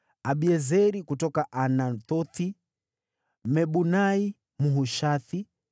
Abiezeri kutoka Anathothi; Mebunai, Mhushathi;